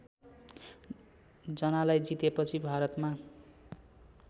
जनालाई जितेपछि भारतमा